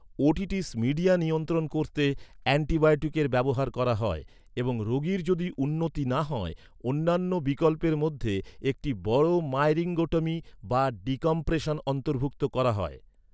Otitis media নিয়ন্ত্রণ করতে অ্যান্টিবায়োটিকের ব্যবহার করা হয়, এবং রোগীর যদি উন্নতি না হয়, অন্যান্য বিকল্পের মধ্যে একটি বড় মাইরিঙ্গোটমি বা ডিকম্প্রেশন অন্তর্ভুক্ত করা হয়।